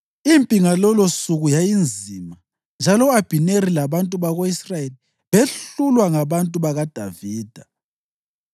Impi ngalolosuku yayinzima, njalo u-Abhineri labantu bako-Israyeli behlulwa ngabantu bakaDavida.